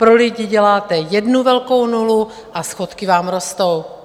Pro lidi děláte jednu velkou nulu a schodky vám rostou!